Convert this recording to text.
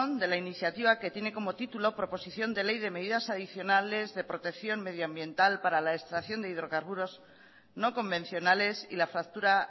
de la iniciativa que tiene como título proposición de ley de medidas adicionales de protección medioambiental para la extracción de hidrocarburos no convencionales y la fractura